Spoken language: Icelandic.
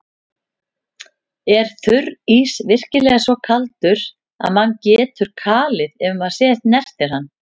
Er þurrís virkilega svo kaldur að mann getur kalið ef maður snertir hann?